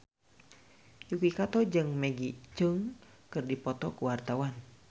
Yuki Kato jeung Maggie Cheung keur dipoto ku wartawan